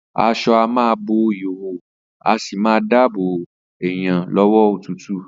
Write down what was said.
As̩o̩ a má a bo ìhòhò, a sì máa dáàbò èèyàn ló̩wó̩ òtútù